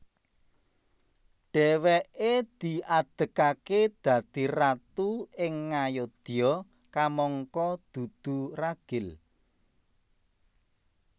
Dhèwèké diadegaké dadi ratu ing Ngayodya kamangka dudu ragil